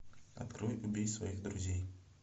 открой убей своих друзей